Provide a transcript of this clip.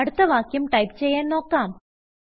അടുത്ത വാക്യം ടൈപ്പ് ചെയ്യാൻ നോക്കാം